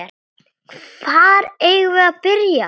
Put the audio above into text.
Hvar eigum við að byrja?